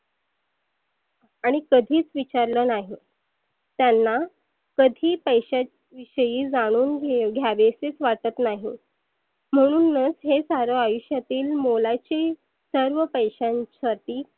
आणि कधीच विचारल नाही. त्यांना कधी पैशाची विषयी जाणून घे घ्यावेसेच वाटत नाही. म्हणूनच हे सारे आयुष्यातील मोलाचे सर्व पैशांसाठी